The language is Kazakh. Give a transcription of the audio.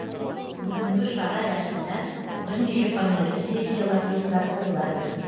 бүгінгі шара аясында бірнеше панельді сессиялар ұйымдастырылады